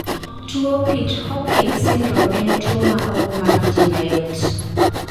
tuwo pitt-hopkins syndrome en tuwo ma ok mak ji mayot